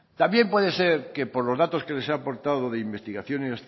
también puede ser que por los datos que les he aportado de investigación